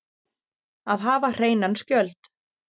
Að hafa hreinan skjöld